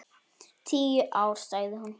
Tíu ár, sagði hún.